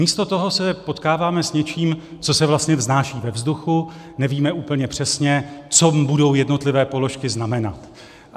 Místo toho se potkáváme s něčím, co se vlastně vznáší ve vzduchu, nevíme úplně přesně, co budou jednotlivé položky znamenat.